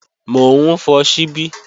Mò ń fọ ṣíbí